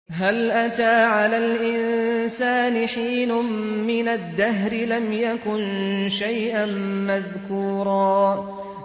هَلْ أَتَىٰ عَلَى الْإِنسَانِ حِينٌ مِّنَ الدَّهْرِ لَمْ يَكُن شَيْئًا مَّذْكُورًا